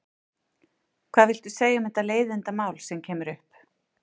Hvað viltu segja um þetta leiðindamál sem kemur upp?